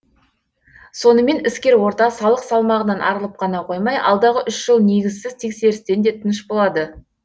сонымен іскер орта салық салмағынан арылып қана қоймай алдағы үш жыл негізсіз тексерістен де тыныш болады